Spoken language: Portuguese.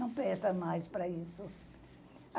Não presta mais para isso.